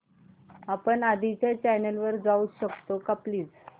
आपण आधीच्या चॅनल वर जाऊ शकतो का प्लीज